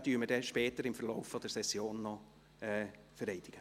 Wir werden ihn später im Verlauf der Session noch vereidigen.